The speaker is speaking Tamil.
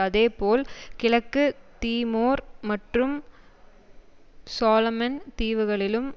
அதேபோல் கிழக்கு தீமோர் மற்றும் சொலோமன் தீவுகளிலும்